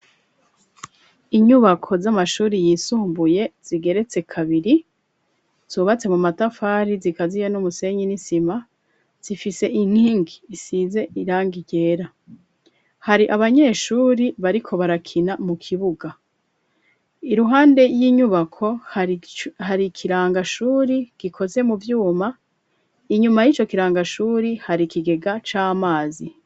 Inyubako z'amashuri yisumbuye zigeretse kabiri zubatse mu matafari zikaziye n'umusenyi n'isima zifise inkingi isize irangi ryera hari abanyeshuri bariko barakina mu kibuga iruhande y'inyubako hari ikirangashuri gikoze mu byuma inyuma y'ico kirangashuri hari kigega c'amazi.